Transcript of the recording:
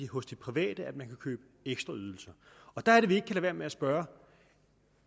hos de private man kan købe ekstra ydelser der er det vi ikke kan lade være med at spørge